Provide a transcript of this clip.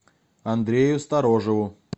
андрею сторожеву